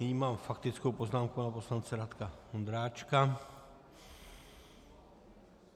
Nyní mám faktickou poznámku pana poslance Radka Vondráčka.